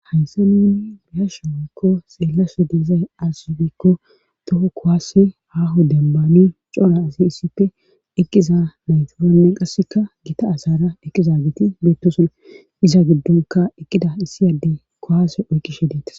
haysi nuuni bihasha woykko xeellafe diizay asufikko doho kowaase haho dembami cora asi issippe eqqiza nayfufannen qasseka gita asara eqiza giti beettosona iza giddonka eqqida issiyadde kowaase oykkishe deetas